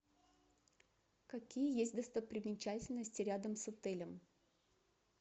какие есть достопримечательности рядом с отелем